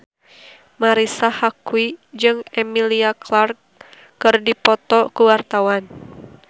Marisa Haque jeung Emilia Clarke keur dipoto ku wartawan